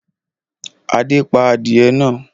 Adé pa adìẹ náà?